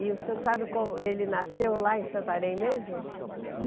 E o senhor sabe como ele nasceu lá em Santarém mesmo?